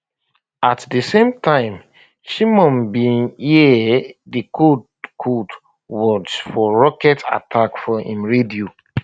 at di same time shimon bin hear di code code words for rocket attack for im radio